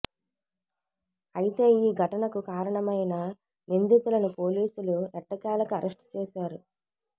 అయితే ఈ ఘటనకు కారణమైన నిందితులను పోలీసులు ఎట్టకేలకు అరెస్ట్ చేశారు